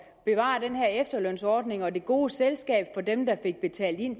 bevare den her efterlønsordning og det gode selskab for dem der fik betalt ind